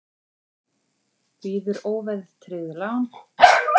Býður óverðtryggð lán